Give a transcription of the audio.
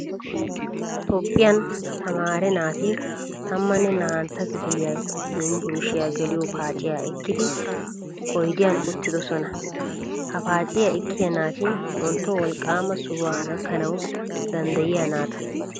Toophphiyan tamaare naati tammane naa'antta kifiliya yunvurshiyaa geliyo paaciyaa ekkidi oydiyan uttidosona Ha paaciyaa ekkiyaa naati wontto wolqqaama sohuwaa gakkanawu danddayiyaa naataa.